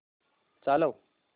चालव